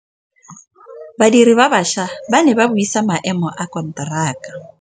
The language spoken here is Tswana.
Badiri ba baša ba ne ba buisa maêmô a konteraka.